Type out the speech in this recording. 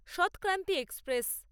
সৎক্রান্তি express